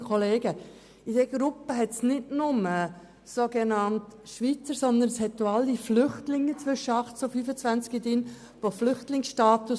Zu dieser Gruppe gehören nicht nur Schweizer, sondern auch alle Flüchtlinge zwischen 18 und 25 Jahren mit Flüchtlingsstatus.